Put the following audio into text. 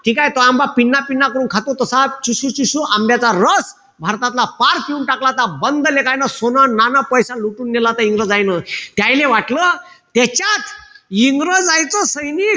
ठीकेय? तो आंबा पिन्ना-पिन्ना करून खातो तसा चुसू-चुसू आंब्याचा रस भारतातला पार पिऊन टाकला. आता सोनं-नाणं पैसे लुटून नेलं इंग्रजायन. त्याहीले वाटलं त्याच्यात इंग्रजायचं सैनिक,